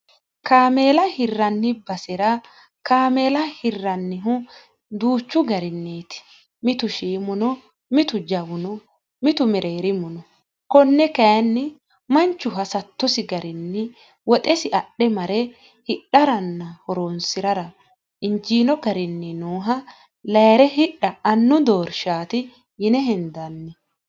kaameela hirranni basira kaameela hirrannihu duuchu garinniiti mitu shiimuno mitu jawuno mitu mereerimuno konne kayinni manchu hasattosi garinni woxesi adhe mare hidharanna horoonsi'rara injiino garinni nooha layire hidha annu doorshaati yine hendanni